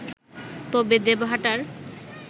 তবে দেবহাটার